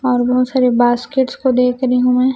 और बहुत सारे बास्केट्स को देख रही हूं मैं--